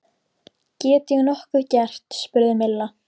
Get ég nokkuð gert? spurði Milla.